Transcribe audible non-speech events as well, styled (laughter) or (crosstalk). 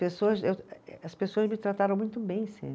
Pessoas eu, eh eh, as pessoas me trataram muito bem (unintelligible)